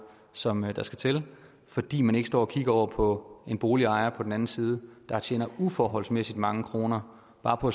som der skal til fordi man ikke står og kigger over på en boligejer på den anden side der tjener uforholdsmæssigt mange kroner bare på